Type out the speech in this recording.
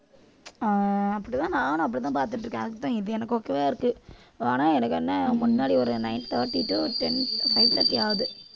ஆஹ் அப்படித்தான் நானும் அப்படித்தான் பார்த்துட்டு இருக்கேன் அதுக்குத்தான் இது எனக்கும் okay வா இருக்கு ஆனா எனக்கு என்ன முன்னாடி ஒரு nine thirty to ten five thirty ஆகுது